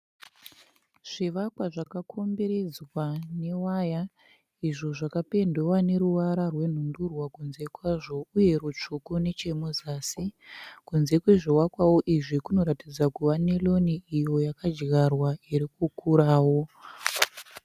Zvivakwa zvakakomberedzwa newaya, izvo zvakapendiwa neruvara rwenhundurwa kunze kwazvo uye rutsvuku nechemuzasi. Kunze kwezvivakwawo izvi kunoratidza kuva neroni iyo yakadyarwa irikukurawo.